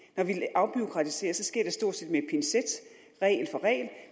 afbureaukratiserer sker det stort set med